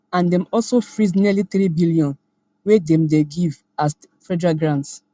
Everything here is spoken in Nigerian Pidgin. and dem also freeze nearly threebn wey dem dey dem dey give as federal grants